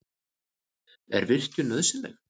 Er virkjun nauðsynleg?